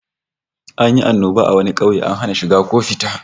An yi annoba a wani kauye, an hana shiga ko fita